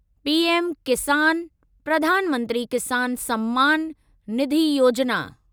PM Kisan, Pradhan Mantri Kisan Samman Nidhi Yojana